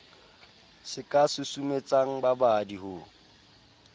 se ka susumetsang babadi ho